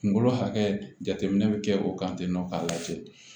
Kunkolo hakɛ bɛ kɛ o kan tentɔ k'a lajɛ